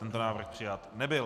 Tento návrh přijat nebyl.